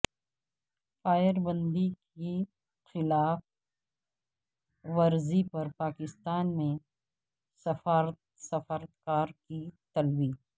فائربندی کی خلاف ورزی پر پاکستان میں سفارتکار کی طلبی